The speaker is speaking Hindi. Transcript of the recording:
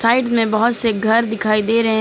साइड में बहोत से घर दिखाई दे रहे।